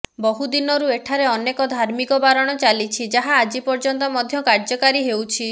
ବହୁ ଦିନରୁ ଏଠାରେ ଅନେକ ଧାର୍ମିକ ବାରଣ ଚାଲିଛି ଯାହା ଆଜି ପର୍ଯ୍ୟନ୍ତ ମଧ୍ୟ କାର୍ଯ୍ୟକାରୀ ହେଉଛି